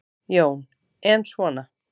Jón: En svona.